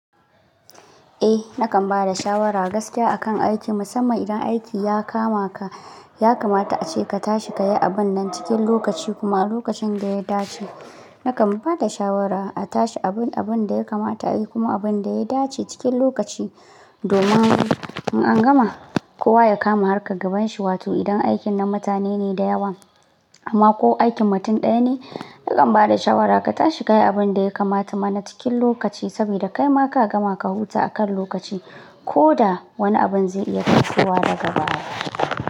Eh, nakan ba da shawara gaskiya akan aiki, musamman idan aiki ya kama ka, ya kamata ace ka tashi ka yi abun nan cikin lokaci kuma a lokacin da ya dace. Nakan ba da shawara a tashi abin, abun da ya kamata a yi kuma abun da ya dace cikin lokaci. Domin in an gama, kowa ya kama harkar gaban shi. Wato idan aikin na mutane ne da yawa amma ko aikin mutum ɗaya ne, nakan ba da shawara ka tashi ka yi abun da ya kamata mana cikin lokaci saboda kai ma ka gama ka huta akan lokaci ko da wani abun zai iya kasuwa daga baya.